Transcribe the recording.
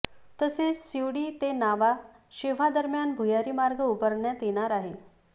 तसेच शिवडी ते नावा शेव्हा दरम्यान भुयारी मार्ग उभारण्यात येणार आहे